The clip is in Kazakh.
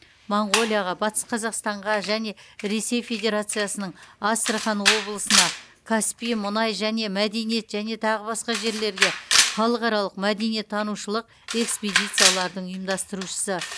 монғолияға батыс қазақстанға және ресей федерациясының астрахан облысына каспий мұнай және мәдениет және тағы басқа жерлерге халықаралық мәдениеттанушылық экспедициялардың ұйымдастырушысы